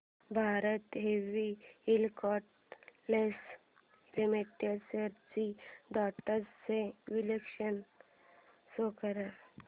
Bharat heavy electricals limited shares trends चे विश्लेषण show कर